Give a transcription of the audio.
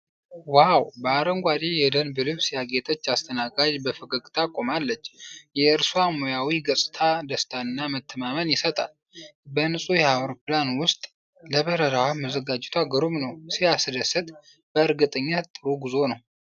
ዋው! በአረንጓዴ የደንብ ልብስ ያጌጠች አስተናጋጅ በፈገግታ ቁማለች። የእርሷ ሙያዊ ገጽታ ደስታንና መተማመንን ይሰጣል። በንፁህ የአውሮፕላን ውስጥ፣ ለበረራው መዘጋጀቷ ግሩም ነው!። ሲያስደስት! በእርግጠኝነት ጥሩ ጉዞ ነው።